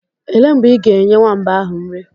Elee mgbe ị ga-enye nwamba ahụ nri?